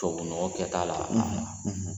Tubabunɔgɔ kɛta la